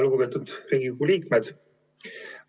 Lugupeetud Riigikogu liikmed!